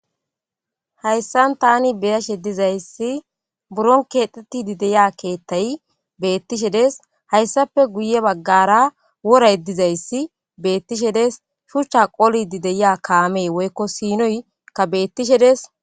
hayssan tani beyashe dizayssi buron keexetidi deya keethtay beettishe des hayssape guye baggara wora yeddizayssi beettishe des shuchcha qoli di deya kaamee woykko siinoy ka beettishe des